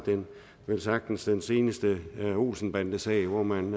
velsagtens den seneste olsen bande sag hvor man